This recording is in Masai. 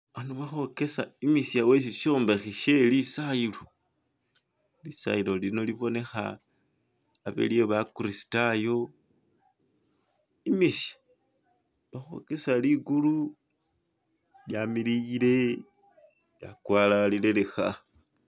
Ano bakhwokesa imishye weshishombekhe she lisayilo lisayilo lino libonekha abe lye bakristayo, imishye bakhwokesa ligulu lyamilile lyakwalalile lekha.